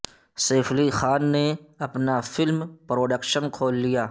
safe Ali Khan نے اپنا film production کھول لیا